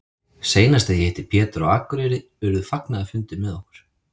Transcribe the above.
Seinast þegar ég hitti Pétur á Akureyri urðu fagnaðarfundir með okkur.